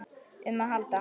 um að halda.